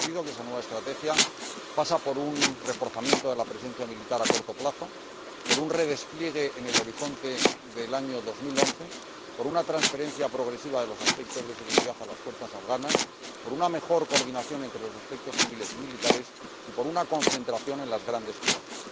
Es conocido que esa nueva estrategia pasa por un reforzamiento de la presencia militar a corto plazo, por un redespliegue en el horizonte del año 2011, por una transferencia progresiva de los aspectos de seguridad a las fuerzas afganas, por una mejor coordinación entre los aspectos civiles y militares y por una concentración en las grandes ciudades.